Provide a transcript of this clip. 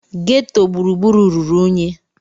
Geto gburugburu ruru unyi